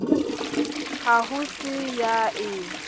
ha ho se ya e